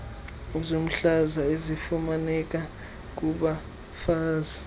zomhlaza ezifumaneka kubafazi